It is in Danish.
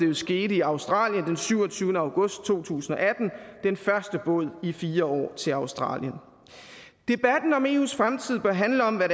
jo skete i australien den syvogtyvende august to tusind og atten den første båd i fire år til australien debatten om eus fremtid bør handle om hvad